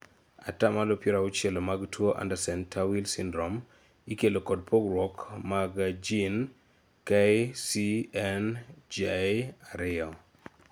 atamalo piero auchiel mag tuo Andersen Tawil syndrom ikelo kod pogruok msg jin KCNJ2